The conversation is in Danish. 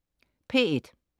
P1: